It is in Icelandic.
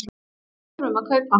Við þurfum að kaupa.